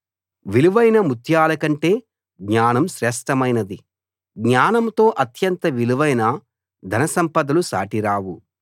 విలువైన ముత్యాల కంటే జ్ఞానం శ్రేష్ఠమైనది జ్ఞానంతో అత్యంత విలువైన ధన సంపదలు సాటిరావు